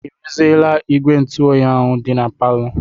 I ruziela igwe ntụoyi ahụ dị na palọ?